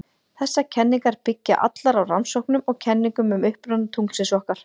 Þessar kenningar byggja allar á rannsóknum og kenningum um uppruna tunglsins okkar.